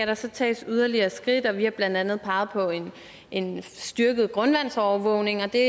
der skal tages yderligere skridt og vi har blandt andet peget på en styrket grundvandsovervågning det